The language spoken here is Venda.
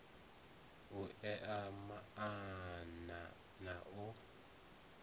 u ea maana na u